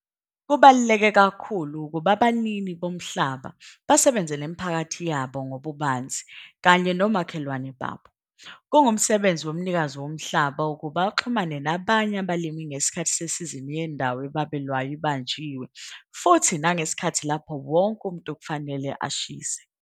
Kubaluleke kakhulu ukuba abanini bomhlaba basebenze nemiphakathi yabo ngobubanzi kanye nomakhelwane babo. Kungumsebenzi womnikazi womhlaba ukuba axhumane nabanye abalimi ngesikhathi sesizini yendawo ebabelwayo ibanjiwe futhi nangesikhathi lapho wonke umuntu kufanele ashise.